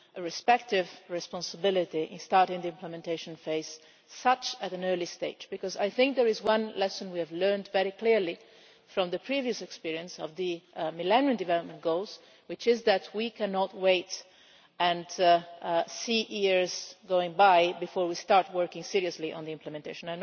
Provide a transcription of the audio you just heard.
respective responsibility with regard to starting the implementation phase at an early stage. I think there is one lesson we learned very clearly from the previous experience of the Millennium Development Goals, which is that we cannot wait and see years go by before we start working seriously on the implementation.